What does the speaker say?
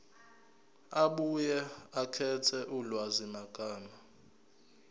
abuye akhethe ulwazimagama